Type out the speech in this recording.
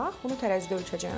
Bunu tərəzidə ölçəcəm,